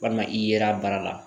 Walima i yera a baara la